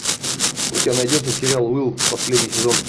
у тебя найдется сериал уилл последний сезон